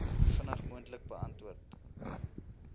vinnig moontlik beantwoord